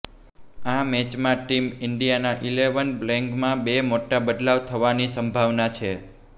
આ મેચમાં ટીમ ઇન્ડિયાના ઇલેવન પ્લેઇંગમાં બે મોટા બદલાવ થવાની સંભાવના છે